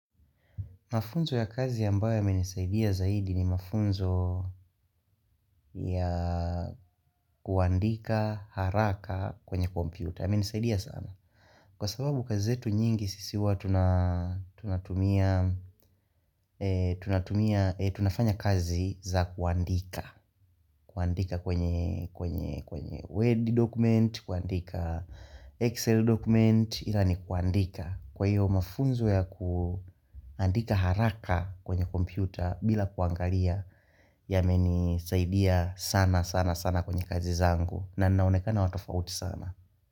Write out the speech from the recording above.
Mafunzo ya kazi ambayo yamenisaidia zaidi ni mafunzo ya kuandika haraka kwenye kompyuta yamenisaidia sana Kwa sababu kazi zetu nyingi sisi huwa tunatumia tunafanya kazi za kuandika kuandika kwenye web document, kuandika excel document ila ni kuandika Kwa hiyo mafunzo ya kuandika haraka kwenye kompyuta bila kuangalia yamenisaidia sana sana sana kwenye kazi zangu na naonekana watofauti sana.